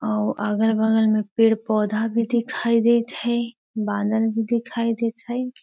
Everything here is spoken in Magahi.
अ उ अगल-बगल पेड़-पौधा भी दिखाई देएत हेय बानर भी दिखाई देएत हेय।